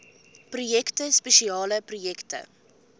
projekte spesiale projekte